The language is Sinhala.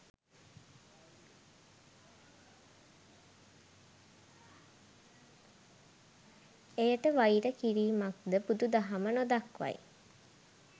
එයට වෛර කිරීමක්ද බුදු දහම නොදක්වයි.